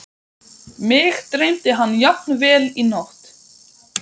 Mig dreymdi hann jafnvel í nótt.